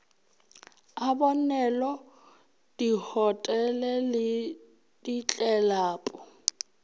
a bonwelo dihotele le ditlelapo